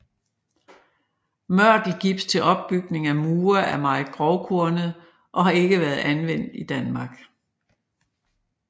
Mørtelgips til opbygning af mure er meget grovkornet og har ikke været anvendt i Danmark